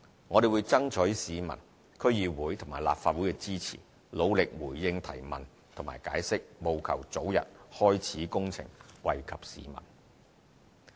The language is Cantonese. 我們會爭取市民、區議會和立法會支持，努力回應提問和解釋，務求早日開始工程，惠及市民。